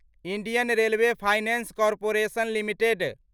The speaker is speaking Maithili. Indian railway finance corporation limited